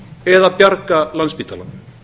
eða bjarga landspítalanum